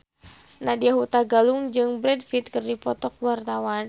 Nadya Hutagalung jeung Brad Pitt keur dipoto ku wartawan